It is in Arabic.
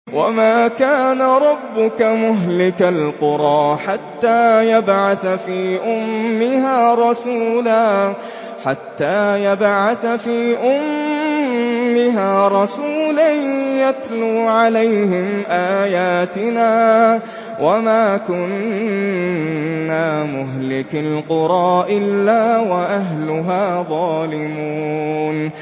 وَمَا كَانَ رَبُّكَ مُهْلِكَ الْقُرَىٰ حَتَّىٰ يَبْعَثَ فِي أُمِّهَا رَسُولًا يَتْلُو عَلَيْهِمْ آيَاتِنَا ۚ وَمَا كُنَّا مُهْلِكِي الْقُرَىٰ إِلَّا وَأَهْلُهَا ظَالِمُونَ